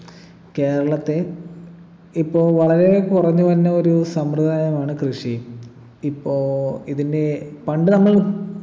കേരളത്തെ ഇപ്പൊ വളരെ കുറഞ്ഞു വരുന്ന ഒരു സമ്പ്രദായമാണ് കൃഷി ഇപ്പൊ ഇതിൻ്റെ പണ്ട് നമ്മൾ